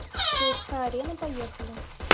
цска арена поехали